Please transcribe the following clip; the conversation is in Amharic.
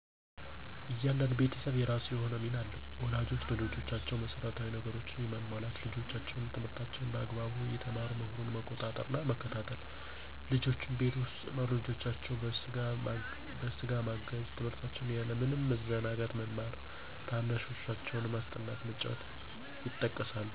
እያንዳንዱ ቤተሰብ የራሱ የሆነ ሚና አለው። ወላጆች ለልጆቻቸው መሰረታዊ ነገሮችን የማሟላት፣ ልጆቻቸው ትምህርታቸውን በአግባቡ እየተማሩ መሆኑን መቆጣጠር እና መከታተል፣ ልጆችም ቤት ውስጥ ወላጆቻቸውን በስጋ ማገዝ፣ ትምህርታቸውን ያለ ምንም መዘናጋት መማር፣ ታናናሻቸውን ማስጠናት፣ ማጫወት ይጠቀሳሉ።